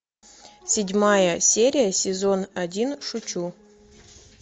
седьмая серия сезон один шучу